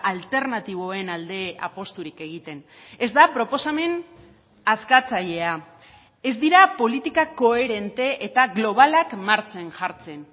alternatiboen alde apusturik egiten ez da proposamen askatzailea ez dira politika koherente eta globalak martxan jartzen